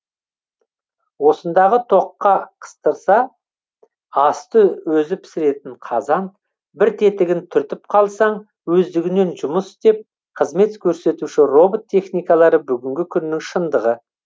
осындағы тоққа қыстырса асты өзі пісіретін қазан бір тетігін түртіп қалсаң өздігінен жұмыс істеп қызмет көрсетуші робот техникалары бүгінгі күннің шындығы